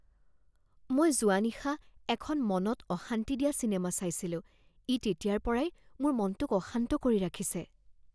মই যোৱা নিশা এখন মনত অশান্তি দিয়া চিনেমা চাইছিলো ই তেতিয়াৰ পৰাই মোৰ মনটোক অশান্ত কৰি ৰাখিছে।